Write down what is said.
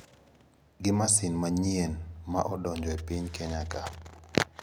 Gi masin manyien ma odonjo e piny Kenya ka.